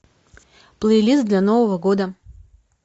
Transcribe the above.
плейлист для нового года